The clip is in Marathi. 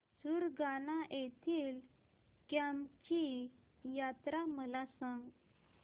सुरगाणा येथील केम्ब ची यात्रा मला सांग